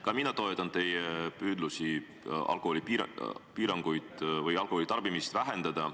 Ka mina toetan teie püüdlusi alkoholitarbimist vähendada.